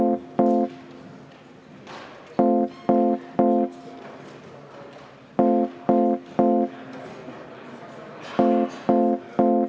Eelnõu 731 esimene lugemine on lõppenud.